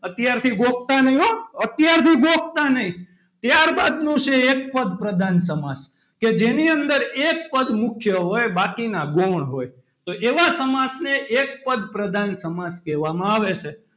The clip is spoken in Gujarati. અત્યારથી ગોખતા નહીં હો. અત્યારથી ગોખતા નહીં ત્યારબાદ નું છે એક પદ પ્રધાન સમાસ કે જેની અંદર એક પદ મુખ્ય હોય બાકીના ગૌણ હોય તો એવા સમાસને એક પદ પ્રધાન સમાસ કહેવામાં આવે છે.